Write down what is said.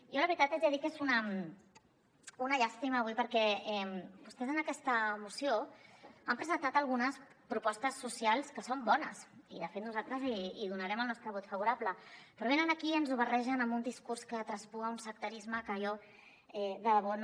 jo la veritat haig de dir que és una llàstima avui perquè vostès en aquesta moció han presentat algunes propostes socials que són bones i de fet nosaltres hi donarem el nostre vot favorable però venen aquí i ens ho barregen amb un discurs que traspua un sectarisme que jo de debò no